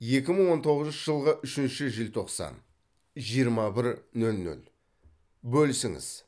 екі мың он тоғызыншы жылғы үшінші желтоқсан жиырма бір нөл нөл бөлісіңіз